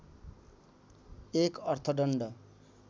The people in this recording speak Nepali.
१ अर्थदण्ड